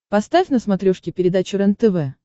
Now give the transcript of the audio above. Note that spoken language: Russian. поставь на смотрешке передачу рентв